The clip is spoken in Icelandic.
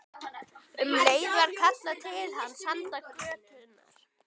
Um leið var kallað til hans handan götunnar.